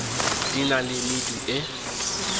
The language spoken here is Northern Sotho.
di na le medu e